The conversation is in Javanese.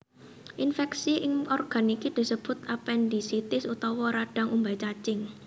Infèksi ing organ iki disebut apendisitis utawa radhang umbai cacing